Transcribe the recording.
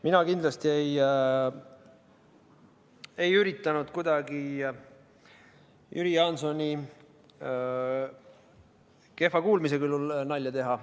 Mina kindlasti ei üritanud kuidagi Jüri Jaansoni kehva kuulmise kulul nalja teha.